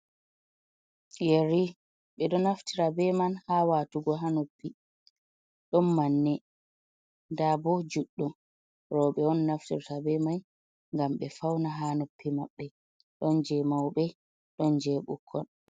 Yerri be do naftira be man ha watugo ha noppi don manne da bo juddum rawɓe on naftirta be mai gam be fauna ha noppi mabbe don je maube don je bukkoi.